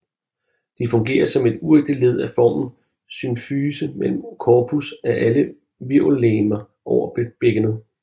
De fungerer som et uægte led af formen symfyse imellem corpus af alle hvirvellegemer over bækkenet